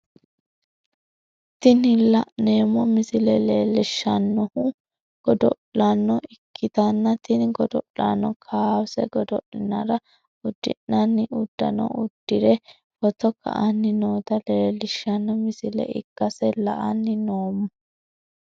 Tini la'neemmo misile leellishshannohu godo'lano ikkitanna, tini godo'lano kowaase godo'linara uddi'nanni uddanno uddi're footo ka'anni noota leellishshanno misile ikkase la'anni noommo.